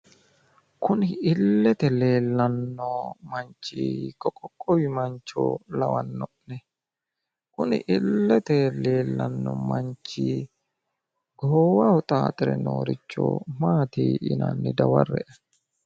Kuni illete leellanno manchi hiikko qoqqowi mancho lawanno'ne kuni illete leellanno manchi goowaho xaaxire nooricho Maati yinanni dawarre''e?